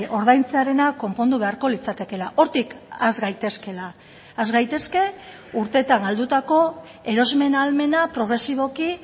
ordaintzearena konpondu beharko litzatekeela hortik has gaitezkeela has gaitezke urteetan galdutako erosmen ahalmena progresiboki